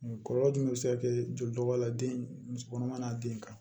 Kɔlɔlɔ jumɛn be se ka kɛ joli dɔ bɔ a la den muso kɔnɔma n'a den kan